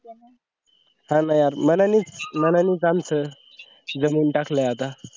हा ना यार मनानेच मनानेच माणसं जमवून टाकले आता